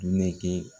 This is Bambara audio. Ne kɛ